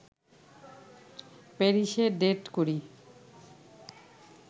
প্যারিসে ডেট করি